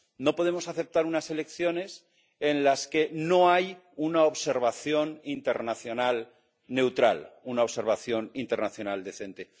No podemos aceptar unas elecciones en las que no hay una observación internacional neutral, una observación internacional decente.